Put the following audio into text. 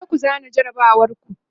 kujeku zana jarabawar ku!